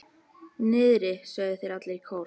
Niðri, sögðu þeir allir í kór.